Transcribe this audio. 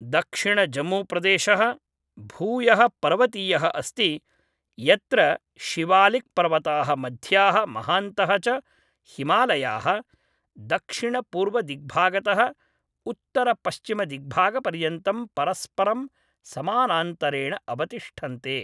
दक्षिणजम्मूप्रदेशः भूयः पर्वतीयः अस्ति यत्र शिवालिक्‌पर्वताः मध्याः महान्तः च हिमालयाः दक्षिणपूर्वदिग्भागतः उत्तरपश्चिमदिग्भागपर्यन्तं परस्परं समानान्तरेण अवतिष्ठन्ते।